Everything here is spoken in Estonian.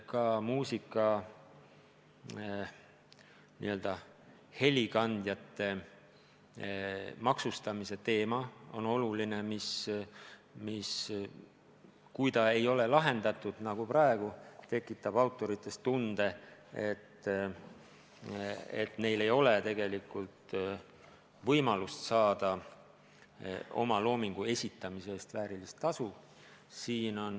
Ka muusika helikandjate maksustamise teema on oluline, see ei ole praegu lahendatud ja autoritel on tunne, et neil ei ole tegelikult võimalik saada oma loomingu esitamise eest väärilist tasu.